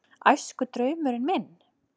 Æskudraumurinn minn?